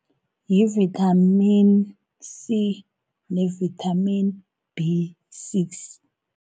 Yi-vitamin C, ne-vitamin B six.